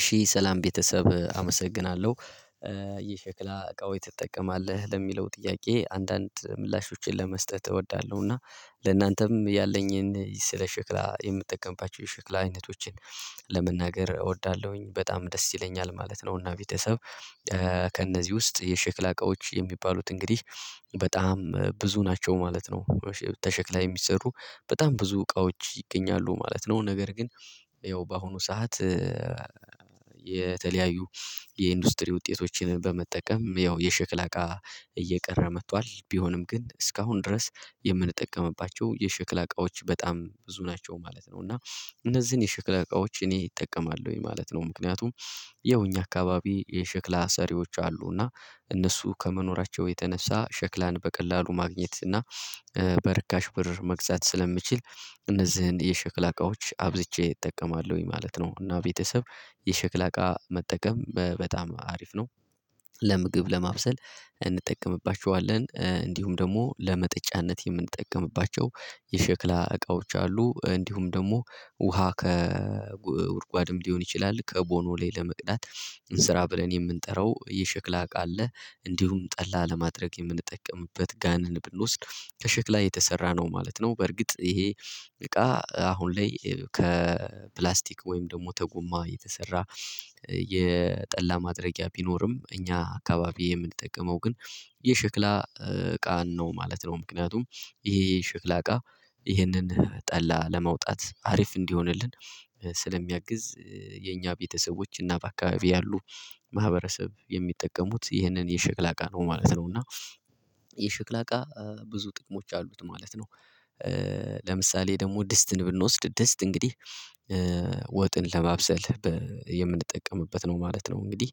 እሺ ሰላም ቤተሰብ አመሰግናለሁ። ይህ ሸክላ እቃው ትጠቀማለህ ለሚለው ጥያቄ አንዳንድ ምላሾችን ለመስጠት እወዳለሁ እና ለእናንተም ያለኝን ስለ ሸክላ የምጠቀምባቸው የሸክላ አይነቶችን ለመናገር እወዳለሁኝ በጣም ደስ ይለኛል ማለት ነው። እና ቤተሰብ ከእነዚህ ውስጥ የሸክላ እቃዎች የሚባሉት እንግዲህ በጣም ብዙ ናቸው ማለት ነው። ከሸክላ የሚሰሩ በጣም ብዙ እቃዎች ይገኛሉ ማለት ነው። ነገር ግን ያው በአሁኑ ሰዓት የተለያዩ የኢንዱስትሪ ውጤቶችን በመጠቀም ያው የሽክላ እቃ እየቀረ መጥቷል ቢሆንም ግን እስካሁን ድረስ የምንጠቀምባቸው የሸክላ አቃዎች በጣም ብዙ ናቸው ማለት ነው። እና እነዚህን የሸክላ እቃዎች እኔ እጠቀማለሁኝ ማለት ነው። ምክንያቱም ያው እኛ አካባቢ የሸክላ ሰሪዎች አሉና እነሱ ከመኖራቸው የተነሳ ሸክላን በቀላሉ ማግኘት እና በርካሽ ብር መግዛት ስለምችል እነዚህን የሸክላ እቃዎች አብዝቼ እጠቀማለሁኝ ማለት ነው። እና ቤተሰብ የሸክላ እቃ መጠቀም በጣም አሪፍ ነው። ለምግብ ለማብሰል እንጠቀምባቸዋለን እንዲሁም ደግሞ ለመጠጫነት የምንጠቀምባቸው የሸክላ እቃዎች አሉ። እንዲሁም ደግሞ ውሃ ከጉድጓድም ሊሆን ይችላል ከቦኖ ላይ ለመቅዳት ስራ ብለን የምንጠራው የሽክላ እቃ አለ እንዲሁም ጠላ ለማድረግ የምንጠቀምበት ጋን ብንወስድ ከሸክላ የተሰራ ነው ማለት ነው። በርግጥ ይሄ እቃ አሁን ላይ ከፕላስቲክ ወይም ደግሞ ከጐማ የተሰራ የጠላ ማድረጊያ ቢኖርም እኛ አካባቢ የምንጠቀመው ግን የሸክላ እቃን ነው ማለት ነው። ምክንያቱም ይሄ የሸክላ እቃ ይሄንን ጠላ ለመውጣት አሪፍ እንዲሆንልን ስለሚያግዝ የኛ ቤተሰቦች እና በአካባቢው ያሉ ማህበረሰብ የሚጠቀሙት ይህንን የሸክላ እቃ ነው ማለት ነው። እና የሸክላ እቃ ብዙ ጥቅሞች አሉት ማለት ነው። ለምሳሌ ደግሞ ድስትን ብንወስድ ድስት እንግዲህ ወጥን ለማብሰል የምንጠቀምበት ነው ማለት ነው። እንግዲህ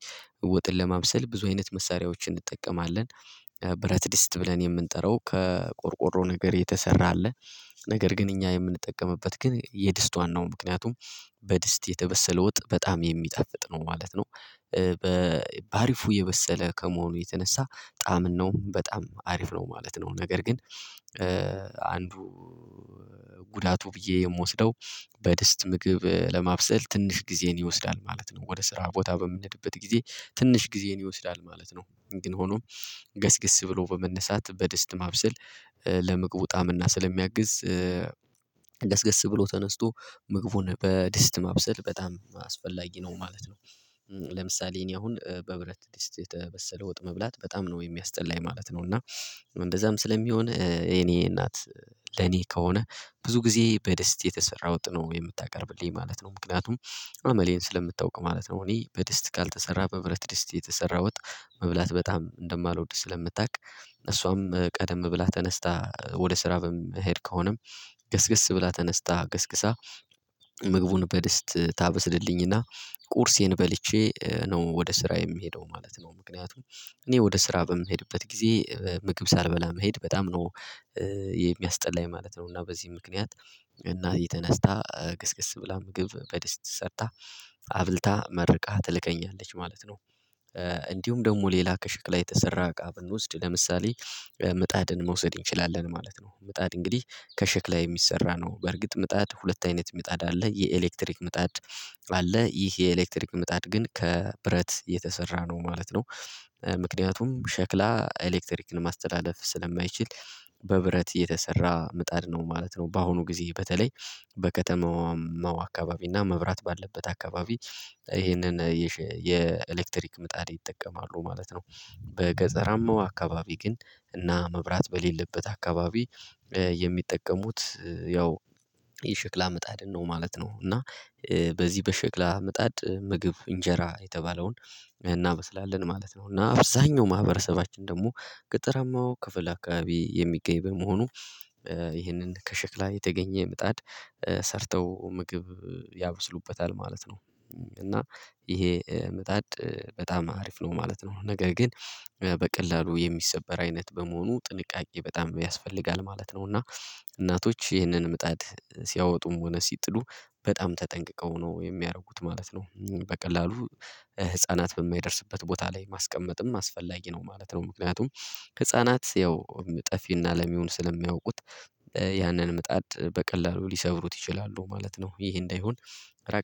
ወጥን ለማብሰል ብዙ አይነት መሳሪያዎችን እንጠቀማለን ብረት ድስት ብለን የምንጠራው ከቆርቆሮ ነገር የተሰራ አለ ነገር ግን እኛ የምንጠቀምበት ግን የድስት ዋናው ምክንያቱም በድስት የተበሰለ ወጥ በጣም የሚጣፍጥ ነው ማለት ነው። በአሪፉ የበሰለ ከመሆኑ የተነሳ ጣዕምናውም በጣም አሪፍ ነው ማለት ነው። ነገር ግን አንዱ ጉዳቱ ብዬ የምወስደው በድስት ምግብ ለማብሰል ትንሽ ጊዜን ይወስዳል ማለት ነው ወደ ስራ ቦታ በምንሄድበት ጊዜ ትንሽ ጊዜን ይወስዳል ማለት ነው። ግን ሆኖም ገስግስ ብሎ በመነሳት በደስታ ማብሰል ለመግቡ ጣዕም እና ስለሚያግዝ ገስግስ ብሎ ተነስቶ ምግቡን በድስት ማብሰል በጣም አስፈላጊ ነው ማለት ነው። ለምሳሌ እኔ አሁን በብረት ድስት የተበሰለ ወጥ መብላት በጣም ነው የሚያስጠላኝ ማለት ነው። እና እንደዛም ስለሚሆን የኔ እናት ለኔ ከሆነ ብዙ ጊዜ በድስት የተሰራ ወጥ ነው የምታቀርብልኝ ማለት ነው። ምክንያቱም አመሌን ስለምታውቅ ማለት ነው። እኔ በድስት ካልተሰራ በብረት ድስት የተሰራ ወጥ መብላት በጣም እንደማልወድ ስለምታውቅ እሷም ቀደም ብላ ተነስታ ወደ ስራ የምሄድ ከሆነም ገስገስ ብላ ተነስታ ገስግሳ ምግቡን በድስት ታበስልልኝና ቁርሴን በልቼ ነው ወደ ስራ የምሄደው ማለት ነው። ምክንያቱም እኔ ወደ ስራ በምሄድበት ጊዜ ምግብ ሳልበላ መሄድ በጣም ነው የሚያስጠላኝ ማለት ነው። እና በዚህ ምክንያት እና እናቴ ተነስታ ገስገስ ብላ ምግብ በደስታ ሰርታ አብልታ መርቃ ትልከኛለች ማለት ነው። እንዲሁም ደግሞ ሌላ ከሸክላ የተሰራ እቃ ብንወስድ ለምሳሌ ምጣድን መውሰድ እንችላለን ማለት ነው። ምጣድ እንግዲህ ከሸክላ የሚሰራ ነው በርግጥ ምጣድ ሁለት አይነት ምጣድ አለ የኤሌክትሪክ ምጣድ አለ ይህ የኤሌክትሪክ ምጣድ ግን ከብረት የተሰራ ነው ማለት ነው። ምክንያቱም ሸክላ ኤሌክትሪክን ማስተላለፍ ስለማይችል በብረት የተሰራ ምጣድ ነው ማለት ነው። በአሁኑ ጊዜ በተለይ በከተማዋ አካባቢ እና መብራት ባለበት አካባቢ ይሄንን የኤሌክትሪክ ምጣድ ይጠቀማሉ ማለት ነው። በገጠራማው አካባቢ ግን እና መብራት በሌለበት አካባቢ የሚጠቀሙት ያው የሽክላ ምጣድ ነው ማለት ነው። እና በዚህ በሽክላ ምጣድ ምግብ እንጀራ የተባለውን እናበስላለን ማለት ነው። እና አብዛኛው ማህበረሰባችን ደግሞ ገጠረማው ክፍል አካባቢ የሚገኝ በመሆኑ ይህንን ከሽክላ የተገኘ ምጣድ ሰርተው ምግብ ያበስሉበታል ማለት ነው። እና ይሄ ምጣድ በጣም አሪፍ ነው ማለት ነው። ነገር ግን በቀላሉ የሚሰበር አይነት በመሆኑ ጥንቃቄ በጣም ያስፈልጋል ማለት ነው። እና እናቶች ይህንን ምጣድ ሲያወጡም ሆነ ሲጥሉ በጣም ተጠንቅቀው ነው የሚያደርጉት ማለት ነው። በቀላሉ ህፃናት በማይደርስበት ቦታ ላይ ማስቀመጥም አስፈላጊ ነው ማለት ነው። ምክንያቱም ህፃናት ያው ጠፊና ለሚዉን ስለማያውቁት ያንን ምጣድ በቀላሉ ሊሰብሩት ይችላሉ ማለት ነው። ይሄ እንዳይሆን ራቅ